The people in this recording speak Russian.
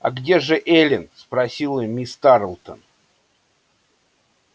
а где же эллин спросила мисс тарлтон